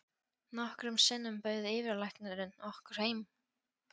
Nokkrum sinnum bauð yfirlæknirinn okkur heim.